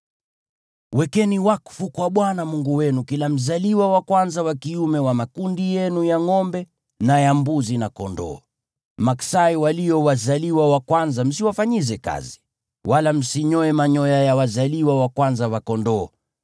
Wekeni wakfu kwa Bwana Mungu wenu kila mzaliwa wa kwanza wa kiume wa makundi yenu ya ngʼombe na ya mbuzi na kondoo. Maksai walio wazaliwa wa kwanza msiwafanyize kazi, wala msinyoe manyoya ya wazaliwa wa kwanza wa kondoo.